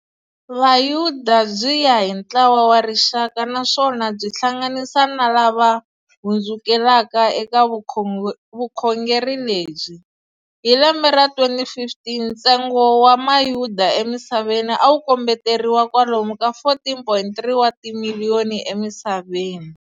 Vayuda byi ya hi ntlawa wa rixaka naswona byi hlanganisa na lava hundzukelaka eka vukhongeri lebyi. Hi lembe ra 2015, ntsengo wa mayuda emisaveni awu kombeteriwa kwalomu ka 14.3 wa timiliyoni emisaveni.